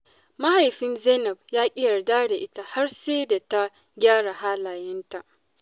Mahaifin Zainab ya ƙi yarda da ita har sai da ta gyara halayenta.